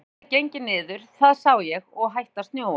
Veðrið hafði gengið niður, það sá ég, og hætt að snjóa.